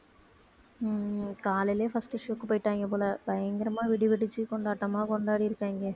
உம் காலையிலேயே first show க்கு போயிட்டாங்க போல பயங்கரமா வெடி வெடிச்சு கொண்டாட்டமா கொண்டாடி இருக்காங்க